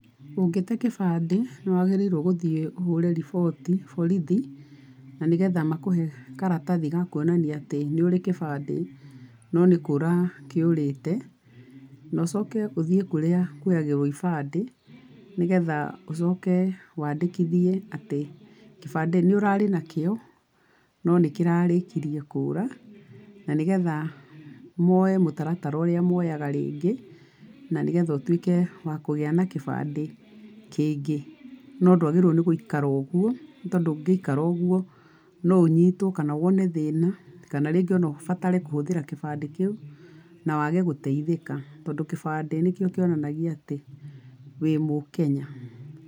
Ũngĩte gĩbandĩ, nĩ wagĩrĩirwo gũthiĩ ũhũre riboti borithi, na nĩgetha makũhe karatathi gakuonania atĩ nĩ ũrĩ gĩbandĩ no nĩ kũra kĩũrĩte, na ũcoke ũthiĩ kũrĩa kuoyagĩrwo ibandĩ, nĩgetha ũcoke wandĩkithie atĩ gĩbandĩ nĩ ũrarĩ nakĩo, no n ĩkĩrarĩkirie kũra, na nĩgetha moe mũtaratara ũrĩa moyaga rĩngĩ, na nĩgetha ũtuĩke wakũgĩa na gĩbandĩ kĩngĩ. No ndwagĩrĩirwo nĩ gũikara ũguo nĩ tondũ ũngĩikara ũguo, no ũnyitwo kana wone thĩna, kana rĩngĩ ona ũbatare kũhũthĩra gĩandĩ kĩu na wage gũteithĩka tondũ gibandĩ nĩkĩo kĩonanagia atĩ, wĩ mũKenya.